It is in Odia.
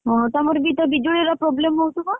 ଓହୋ ତମର ବି ତ ବିଜୁଳି ର problem ହଉଥିବ?